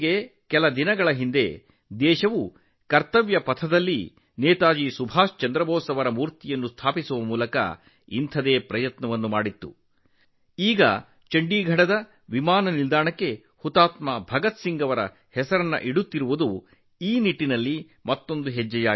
ಕೆಲವೇ ದಿನಗಳ ಹಿಂದೆ ಕರ್ತವ್ಯ ಪಥದಲ್ಲಿ ನೇತಾಜಿ ಸುಭಾಷ್ ಚಂದ್ರ ಬೋಸ್ ಅವರ ಪ್ರತಿಮೆಯನ್ನು ಸ್ಥಾಪಿಸುವ ಮೂಲಕ ದೇಶವು ಇದೇ ರೀತಿಯ ಪ್ರಯತ್ನವನ್ನು ಮಾಡಿದೆ ಮತ್ತು ಈಗ ಚಂಡೀಗಢ ವಿಮಾನ ನಿಲ್ದಾಣಕ್ಕೆ ಶಹೀದ್ ಭಗತ್ ಸಿಂಗ್ ಅವರ ಹೆಸರನ್ನು ಇಡುತ್ತಿರುವುದು ಆ ನಿಟ್ಟಿನಲ್ಲಿ ಮತ್ತೊಂದು ಹೆಜ್ಜೆಯಾಗಿದೆ